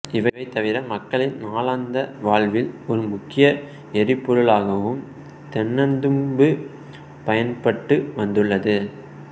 இவைதவிர மக்களின் நாளாந்த வாழ்வில் ஒரு முக்கிய எரிபொருளாகவும் தென்னந்தும்பு பயன்பட்டு வந்துள்ளது